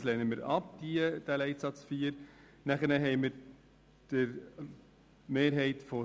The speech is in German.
wir lehnen diese Planungserklärung ab.